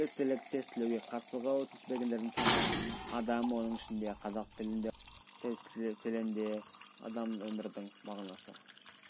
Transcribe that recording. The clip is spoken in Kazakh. біліктілік тестілеуге қатысуға өтініш бергендердің саны адам оның ішінде қазақ тілінде орыс тілінде адам өмірдің мағынасы